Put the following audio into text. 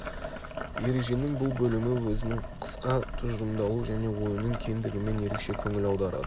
ереженің бұл бөлімі өзінің қысқа тұжырымдалуы және ойының кеңдігімен ерекше көңіл аударады